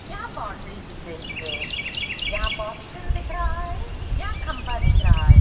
यहां बाउंड्री दिख रही है । यहाँ पोस्टर दिख रहा है । यहाँ खंबा दिख रहा हैं ।